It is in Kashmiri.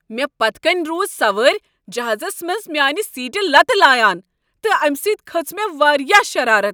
مےٚ پتہٕ کنۍ روز سوٲرۍ جہازس منٛز میانِہ سیٹہ لتہٕ لایان تہٕ امِہ سۭتۍ کھٔژ مےٚ واریاہ شرارت ۔